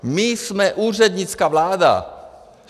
My jsme úřednická vláda.